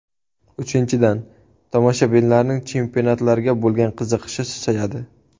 Uchinchidan, tomoshabinlarning chempionatlarga bo‘lgan qiziqishi susayadi.